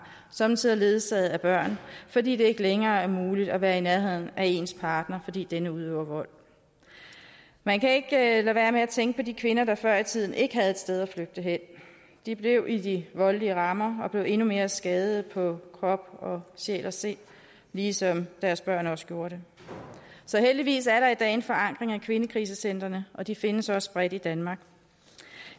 somme tider ledsaget af børn fordi det ikke længere er muligt at være i nærheden af ens parter fordi denne udøver vold man kan ikke lade være med at tænke på de kvinder der før i tiden ikke havde et sted at flygte hen de blev i de voldelige rammer og blev endnu mere skadet på krop og sjæl og sind ligesom deres børn også gjorde det så heldigvis er der i dag en forankring af kvindekrisecentrene og de findes også bredt i danmark